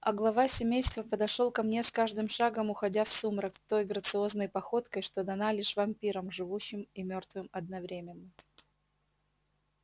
а глава семейства подошёл ко мне с каждым шагом уходя в сумрак той грациозной походкой что дана лишь вампирам живущим и мёртвым одновременно